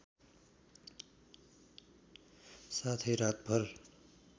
साथै रातभर